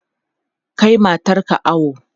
Kai matar ka awo!